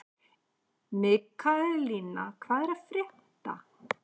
Mikaelína, hvað er að frétta?